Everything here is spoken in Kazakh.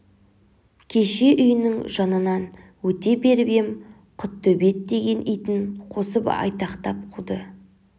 кеше үйінің жанынан өте беріп ем құттөбет деген итін қосып айтақтап қуды